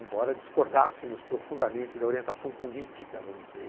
Embora discordássemos profundamente da orientação política, vamos dizer,